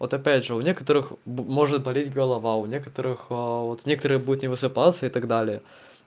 вот опять же у некоторых может болеть голова у некоторых вот некоторые будет не высыпался и так далее